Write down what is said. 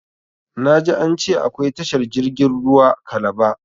Na ji an ce akwai tashar jirgin ruwa kalaba